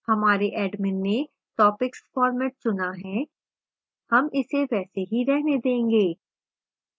हमारे admin ने topics format चुना है हम इसे वैसे ही रहने देंगे